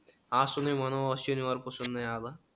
आसुन नही मनोहर शनिवार पासून नाही आला.